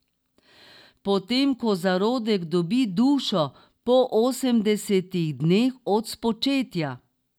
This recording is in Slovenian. Po tem, ko zarodek dobi dušo, po osemdesetih dneh od spočetja.